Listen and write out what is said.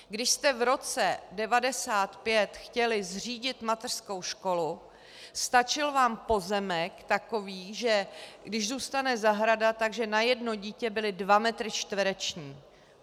Když jste v roce 1995 chtěli zřídit mateřskou školu, stačil vám pozemek takový, že když zůstane zahrada, tak na jedno dítě byly dva metry čtvereční.